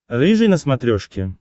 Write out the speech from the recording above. рыжий на смотрешке